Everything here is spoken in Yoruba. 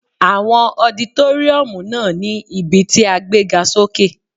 Àwọn ọditóríọ̀mù náà ní ibí tí a gbé ga sókè